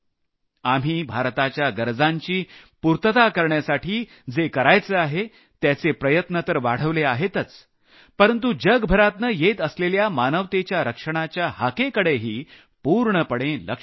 आम्ही भारताच्या गरजांची पूर्तता करण्यासाठी जे करायचं आहे त्याचे प्रयत्न तर वाढवले आहेतच परंतु जगभरातनं येत असलेल्या मानवतेच्या रक्षणाच्या हाकेकडेही पूर्णपणे लक्ष दिलं